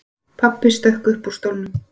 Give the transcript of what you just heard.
Pabbi stökk upp úr stólnum.